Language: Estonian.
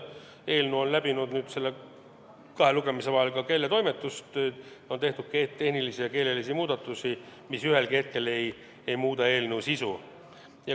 Eelnõu läbis kahe lugemise vahel ka keeletoimetamise, tehtud on tehnilisi ja keelelisi muudatusi, mis eelnõu sisu ei muuda.